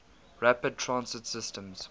rapid transit systems